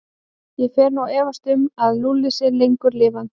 Ég fer nú að efast um að Lúlli sé lengur lifandi.